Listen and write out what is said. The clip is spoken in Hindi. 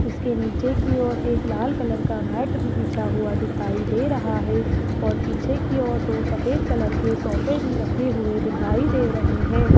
इसके नीचे की ओर एक लाल कलर का मैट भी बिछा हुआ दिखाई दे रहा है और पीछे की ओर दो सफेद कलर के सोफे भी रखे हुए दिखाई दे रहे हैं।